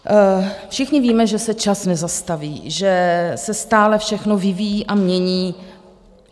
Všichni víme, že se čas nezastaví, že se stále všechno vyvíjí a mění.